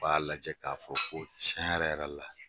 U b'a lajɛ k'a fɔ ko tiɲɛ yɛrɛ yɛrɛ la